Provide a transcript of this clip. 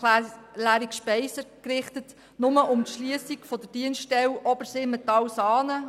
Im Moment geht es nur um die Schliessung der Dienststelle ObersimmentalSaanen.